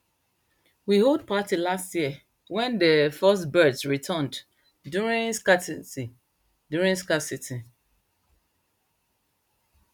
we hold party last year wen dey first birds returned during scarcity during scarcity